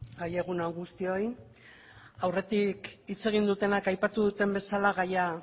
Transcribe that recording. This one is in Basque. egun on guztioi aurretik hitz egin dutenek aipatu duten bezala gaia